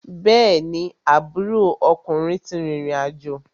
Bẹ́ẹ̀ni, aburo ọkùnrin ti rìrìn àjò.